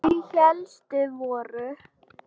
Þau helstu voru